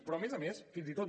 però a més a més fins i tot